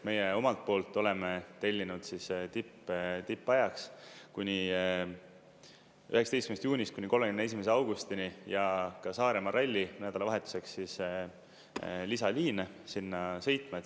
Meie omalt poolt oleme tellinud tippajaks, 19. juunist kuni 31. augustini ja ka Saaremaa ralli nädalavahetuseks, lisaliine sinna sõitma.